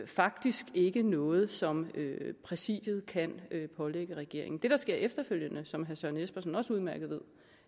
faktisk ikke er noget som præsidiet kan pålægge regeringen det der skete efterfølgende som herre søren espersen også udmærket ved